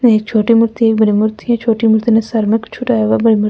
एक छोटी मूर्ति है एक बड़ी मूर्ति है छोटी मूर्ति ने सर में छूटा --